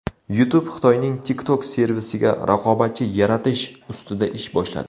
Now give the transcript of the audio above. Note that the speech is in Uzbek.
YouTube Xitoyning TikTok servisiga raqobatchi yaratish ustida ish boshladi.